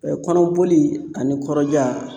Kɔnɔboli ani kɔrɔja